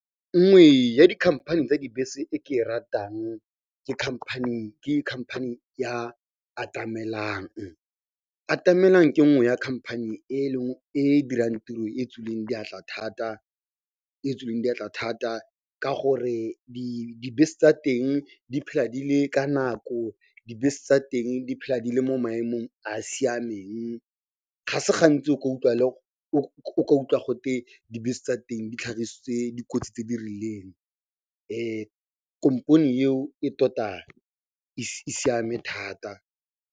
Nngwe ya dikhamphane tsa dibese e ke e ratang ke company ya Atamelang. Atamelang ke nngwe ya khamphane e e dirang tiro e e tswileng diatla thata ka gore dibese tsa teng di phela di le ka nako, dibese tsa teng di phela di le mo maemong a a siameng. Ga se gantsi o ka utlwa gote dibese tsa teng di tlhagisitse dikotsi tse di rileng komponi eo e tota e siame thata.